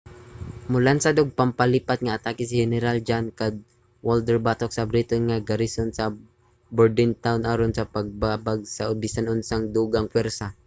molansad og pampalipat nga atake si heneral john cadwalder batok sa briton nga garison sa bordentown aron sa pagbabag sa bisan unsang dugang pwersa